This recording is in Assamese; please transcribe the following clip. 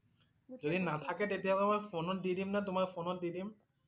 যদি নাথাকে তেতিয়াহলে ফোনত দি দিম না. তোমাৰ ফোনত দি দিম